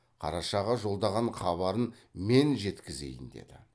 қарашаға жолдаған хабарын мен жеткізейін деді